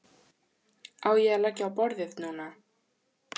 Á ég að leggja á borðið núna?